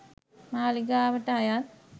මාලිගාවට අයත්